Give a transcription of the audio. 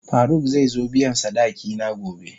Faruk zai zo biyan sadaki na gobe.